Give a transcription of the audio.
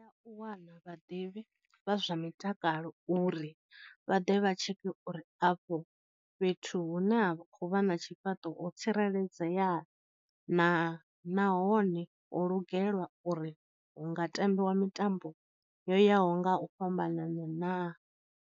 U wana vhaḓivhi vha zwa mutakalo uri vha ḓe vha tsheke uri afho fhethu hune a khou vha na tshifhaṱo ho tsireledzea naa nahone ho lugelwa uri hu nga tambiwa mitambo yo yaho nga u fhambanana naa.